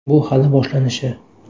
Bu hali boshlanishi”.